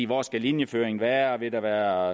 hvor skal linjeføringen være vil der